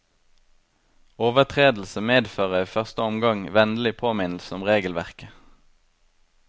Overtredelse medfører i første omgang vennlig påminnelse om regelverket.